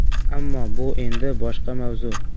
Ammo, bu endi boshqa mavzu!